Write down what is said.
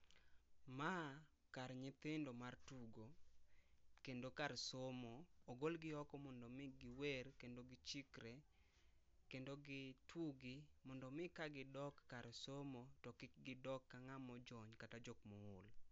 Ma kar nyithindo mar tugo kendo kar somo. Ogolgi oko mondo mi giwer kendo gichikre kendo gitugi mondo mi ka gidok kar somo to kik gidok ka ngama ojony kata jokma ool